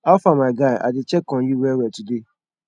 how far my guy i dey check on you well well today